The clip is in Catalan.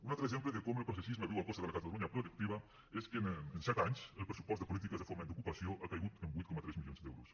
un altre exemple de com el processisme viu a costa de la catalunya productiva és que en set anys el pressupost de polítiques de foment d’ocupació ha caigut en vuit coma tres milions d’euros